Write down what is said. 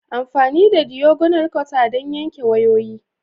Amfani da diagonal cutter don yanke wayoyi.